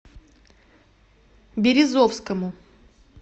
березовскому